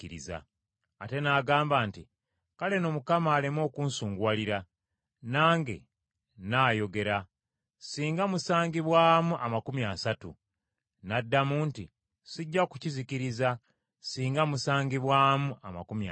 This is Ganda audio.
Ate n’agamba nti, “Kale nno Mukama aleme okunsunguwalira, nange nnaayogera. Singa musangibwamu amakumi asatu.” N’addamu nti, “Sijja kukizikiriza singa musangibwamu amakumi asatu.”